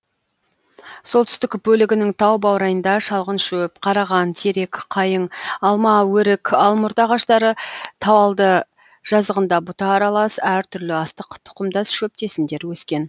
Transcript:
солтүстік бөлігінің тау баурайында шалғын шөп қараған терек қайың алма өрік алмұрт ағаштары тауалды жазығында бұта аралас әр түрлі астық тұқымдас шөптесіндер өскен